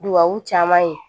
Dubabu caman ye